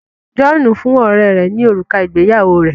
John fún ọrẹ rè ní òrùka ìgbéyàwó rẹ